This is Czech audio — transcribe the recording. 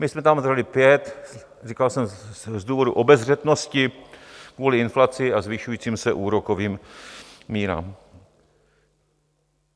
My jsme tam dali 5, říkal jsem z důvodu obezřetnosti kvůli inflaci a zvyšujícím se úrokovým mírám.